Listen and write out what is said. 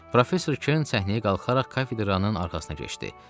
Professor Kern səhnəyə qalxaraq kafedranın arxasına keçdi.